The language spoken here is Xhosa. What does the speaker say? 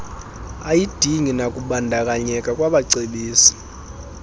ayidingi nakubandakanyeka kwabacebisi